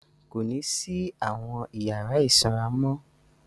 Kò ní sí àwọn ìyàrá ìsanra mọ́.